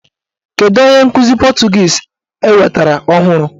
Kedụ onye nkụzi pọtụgiizi enwetara ọhụrụ?